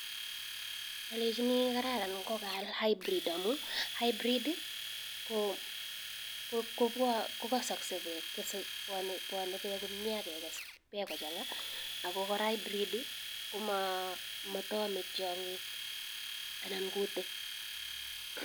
Alechinii kararan ngopal hybrid amuu hybrid bwanee peek komie peek akekes peek kochangaa akokoraa hybrid komataame tiangik anan kutik